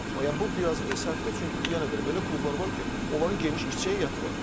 Yəni bu biraz səhvdir, çünki yenə deyirəm, elə klublar var ki, onların geniş işçi heyəti var.